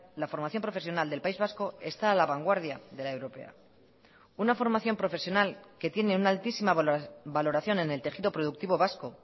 la formación profesional del país vasco está a la vanguardia de la europea una formación profesional que tiene una altísima valoración en el tejido productivo vasco